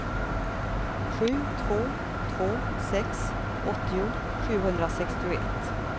sju två två sex åttio sjuhundrasextioett